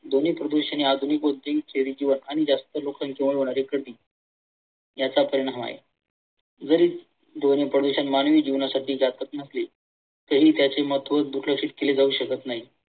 ध्वनी प्रदूषण या आधुनिक उद्योग व शहरी जीवन आणि जास्त लोकसंख्येमुळे होणारी गर्दी याचा परिणाम आहे. जरी ध्वनी प्रदूषण मानवी जीवनासाठी जातक नसले तरी त्याचे महत्व दुर्लक्ष केले जाऊ शकत नाही.